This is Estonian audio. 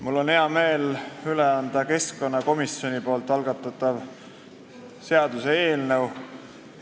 Mul on hea meel anda üle keskkonnakomisjoni algatatav seaduseelnõu.